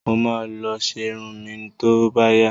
Mo ma lọ ṣe irun mi tó bá yá